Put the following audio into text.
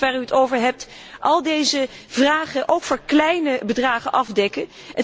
Gaat dat fonds waar u het over hebt al deze vragen ook voor kleine bedragen afdekken?